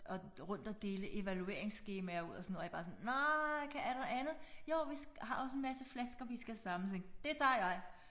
Og rundt og dele evalueringsskemaer ud og sådan jeg var bare sådan nej er der andet jo vi har også en masse flasker vi skal samle jeg tænkte det tager jeg